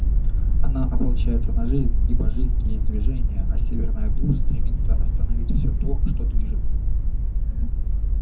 она ополчается на жизнь ибо жизнь есть движение а северная глушь стремится остановить все то что движется